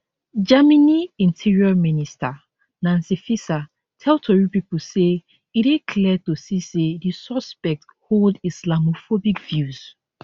germany interior minister nancy faeser tell tori pipo say e dey clear to see say di suspect hold islamophobic views